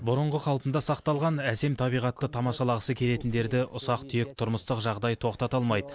бұрынғы қалпында сақталған әсем табиғатты тамашалағысы келетіндерді ұсақ түйек тұрмыстық жағдай тоқтата алмайды